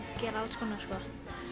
gera alls konar sko